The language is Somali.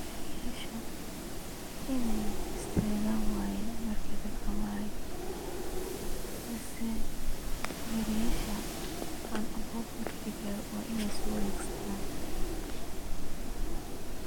Gariyasha iney istagan waye markey dadka marayan mise gariyasha roundabout marki lagaro wa iney sowaregsadan.